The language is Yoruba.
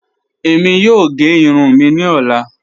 Ẹ̀mí yóò gé ìrùn mí ni ọ̀lá.